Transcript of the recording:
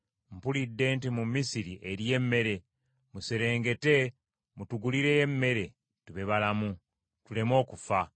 Mpulidde nti mu Misiri eriyo emmere, muserengete mutugulireyo emmere, tube balamu, tuleme okufa.”